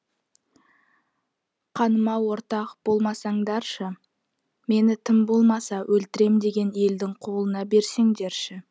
қаныма ортақ болмасаңдаршы мені тым болмаса өлтірем деген елдің қолына берсеңдерші